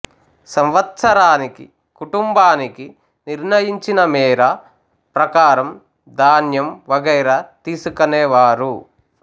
సంవత్సరానికి కుటుంబానికి నిర్ణయించిన మేర ప్రకారం ధాన్యం వగైరా తీసుకనే వారు